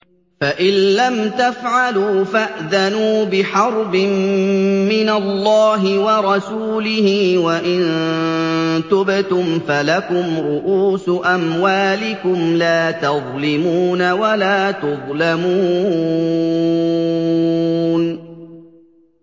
فَإِن لَّمْ تَفْعَلُوا فَأْذَنُوا بِحَرْبٍ مِّنَ اللَّهِ وَرَسُولِهِ ۖ وَإِن تُبْتُمْ فَلَكُمْ رُءُوسُ أَمْوَالِكُمْ لَا تَظْلِمُونَ وَلَا تُظْلَمُونَ